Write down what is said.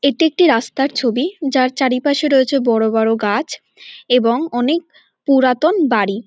এটি একটি রাস্তার ছবি যার চারিপাশে রয়েছে বড় বড় গাছ এবং অনেক পুরাতন বাড়ি।